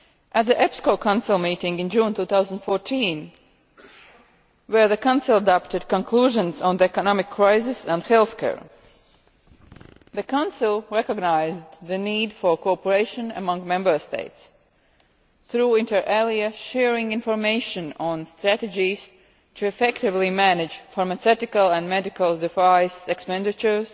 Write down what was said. At the EPSCO Council meeting in June 2014, where the Council adopted conclusions on the economic crisis and health care, the Council recognised the need for cooperation among Member States through, inter alia, sharing information on strategies to effectively manage pharmaceutical and medical device expenditure